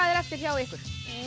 er eftir hjá ykkur